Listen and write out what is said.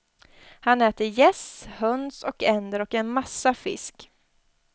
Han äter gäss, höns och änder och en massa fisk.